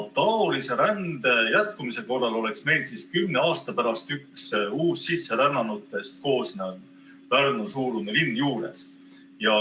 Taolise rände jätkumise korral oleks meil kümne aasta pärast üks uussisserännanutest koosnev Pärnu-suurune linn juures.